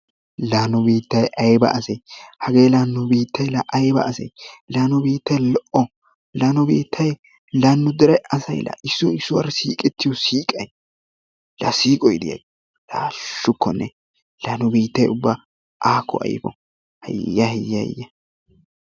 Laa nu biittay ayba asee! hagee la nu biittay ayba asee! laa nu biittay lo"o la nu dere asay issoy issuwaara siiqettiyoo siiqay la siiqoy diyaagee! laa haashshukone! la nu biittay ubba aakko ayfo! haaya haaya haaya!